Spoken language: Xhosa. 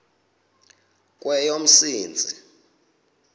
kweyomsintsi